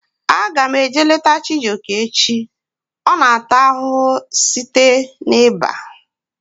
Aga m eje leta Chijioke echi. Ọ na ata ahụhụ site na iba